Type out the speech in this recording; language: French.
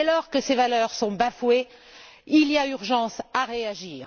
Et dès lors que ces valeurs sont bafouées, il y a urgence à réagir.